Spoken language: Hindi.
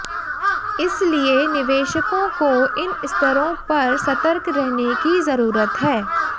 इसलिए निवेशकों को इन स्तरों पर सतर्क रहने की जरूरत है